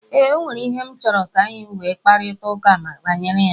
Ee, ọ nwere ihe m chọrọ ka anyi nwe mkaprịta ụka banyere ya.